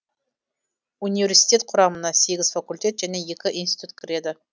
университет құрамына сегіз факультет және екі институт кіреді